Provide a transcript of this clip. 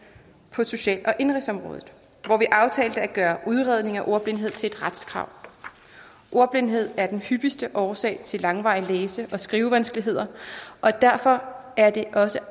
på social og indenrigsområdet hvor vi aftalte at gøre udredning af ordblindhed til et retskrav ordblindhed er hyppigste årsag til langvarige læse og skrivevanskeligheder og derfor er det også